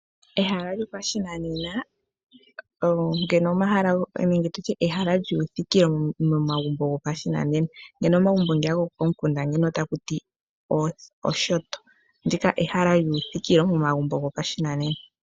Ehala lyopashinanena nenge tutye ehala lyuuthikilo momagumbo gopashinanena ngeno omagumbo nga gokomikunda ota kuti oshoto, ndika ehala lyuuthikilo momagumbo gopashinanena.